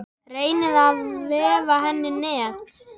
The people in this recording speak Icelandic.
Reynir að vefa henni net.